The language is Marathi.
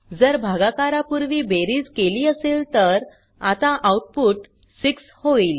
जर भागाकारा पुर्वी बेरीज केली असेल तर आता आऊटपुट 6 होईल